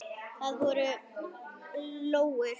Það voru lóur.